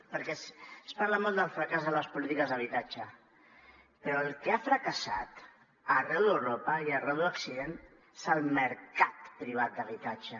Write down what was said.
perquè es parla molt del fracàs de les polítiques d’habitatge però el que ha fracassat arreu d’europa i arreu d’occident és el mercat privat d’habitatge